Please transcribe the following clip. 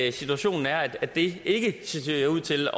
at situationen er at det ikke ser ud til